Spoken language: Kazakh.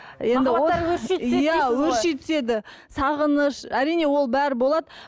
енді махаббаттары өрши түседі иә өрши түседі сағыныш әрине ол бәрі болады